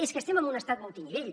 és que estem en un estat multinivell